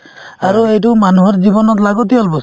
আৰু সেইটো মানুহৰ জীৱনত লাগতীয়াল বস্তু